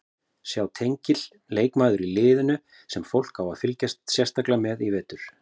Sjá tengil Leikmaður í liðinu sem fólk á að fylgjast sérstaklega með í vetur?